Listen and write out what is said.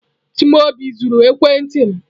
Chimaobi zuru ekwentị m.